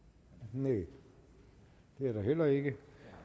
nej det er der heller ikke